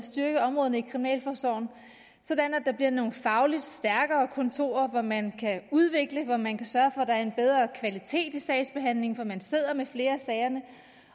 styrke områderne i kriminalforsorgen sådan at der bliver nogle fagligt stærkere kontorer hvor man kan udvikle hvor man kan sørge for at der er en bedre kvalitet i sagsbehandlingen for man sidder med flere af sagerne